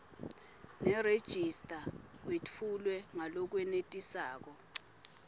nerejista kwetfulwe ngalokwenetisako